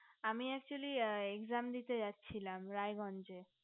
আমি actually exam দিতে যাচ্ছিলাম রায়গঞ্জে